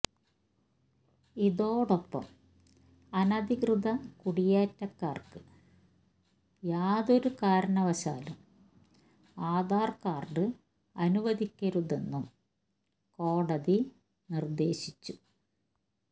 ഇതൊടൊപ്പം അനധികൃത കുടിയേറ്റക്കാര്ക്ക് യാതൊരു കാരണവശാലും ആധാര് കാര്ഡ് അനുവദിക്കരുതെന്നും കോടതി നിര്ദ്ദേശിച്ചു